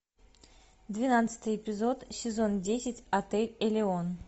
двенадцатый эпизод сезон десять отель элеон